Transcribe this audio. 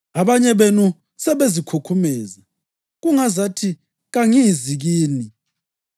Abanye benu sebezikhukhumeza, kungazathi kangizi kini.